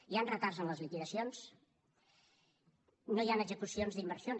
hi han retards en les liquidacions no hi han execucions d’inversions